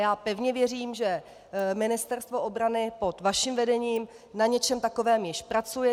Já pevně věřím, že Ministerstvo obrany pod vaším vedením na něčem takovém již pracuje.